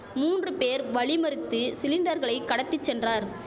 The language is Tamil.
மூன்று பேர் வழிமறித்து சிலிண்டர்களை கடத்தி சென்றார்